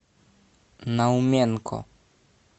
науменко